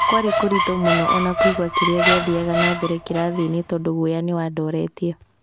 Kwarĩ kũritũ mũno ona kũigua kĩrĩa gĩathiaga na mbere kĩrathi-inĩ tondũ guoya nĩwandoretie"